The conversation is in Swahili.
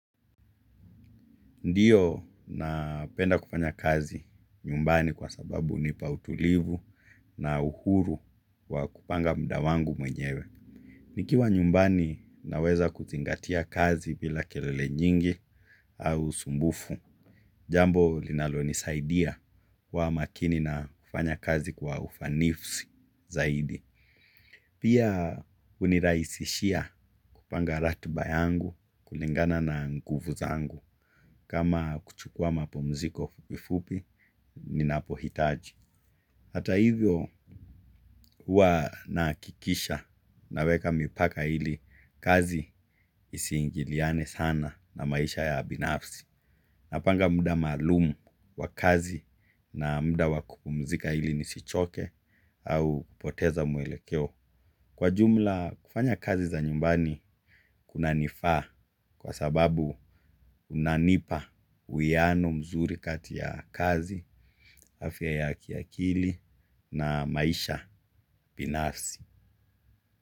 Ndiyo napenda kufanya kazi nyumbani kwa sababu unipa utulivu na uhuru wa kupanga muda wangu mwenyewe. Nikiwa nyumbani naweza kuzingatia kazi vila kerele nyingi au sumbufu. Jambo linalo nisaidia kuwa makini na kufanya kazi kwa ufanisi zaidi. Pia uniraisishia kupanga ratiba yangu kulingana na nguvu zangu. Kama kuchukua mapumziko fupifupi ni napohitaji. Hata hivyo hua naakikisha naweka mipaka ili kazi isiingiliane sana na maisha ya abinafsi. Napanga muda malumu wa kazi na muda wakupumzika hili nisichoke au kupoteza mwelekeo. Kwa jumla kufanya kazi za nyumbani kuna nifaa kwa sababu unanipa uwiano mzuri katia kazi, afya ya kiakili na maisha binafsi.